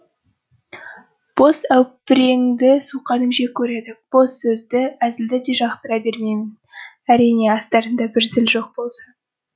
бос әупереңді суқаным жек көреді бос сөзді әзілді де жақтыра бермеймін әрине астарында бір зіл жоқ болса